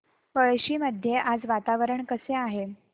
पळशी मध्ये आज वातावरण कसे आहे